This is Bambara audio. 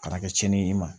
A kana kɛ tiɲɛni ye i ma